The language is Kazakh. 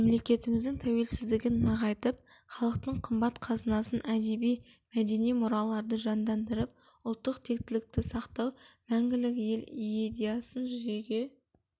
мемлекетіміздің тәуелсіздігін нығайтып халықтың қымбат қазынасын әдеби-мәдени мұраларды жандандырып ұлттық тектілікті сақтау мәңгілік ел иедясын жүзеге